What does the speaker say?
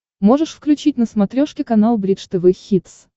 можешь включить на смотрешке канал бридж тв хитс